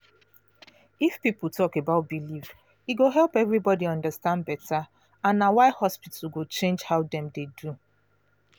if people talk about belief e go help everybody understand better and na why hospital go change how dem dey do